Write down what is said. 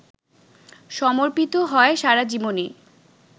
সমর্পিত হয় সারাজীবনই!